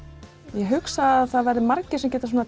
ég hugsa að það verði margir sem geta